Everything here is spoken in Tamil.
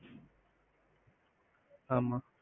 ஆமா.